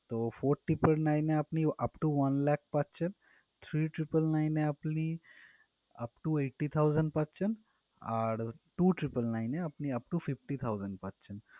তো four triple nine এ আপনি upto one lakh পাচ্ছেন three triple nine এ আপনি upto eighty thousand পাচ্ছেন। আর আর two triple nine এ আপনি upto fifty thousands পাচ্ছেন